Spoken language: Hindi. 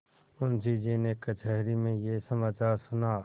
मुंशीजी ने कचहरी में यह समाचार सुना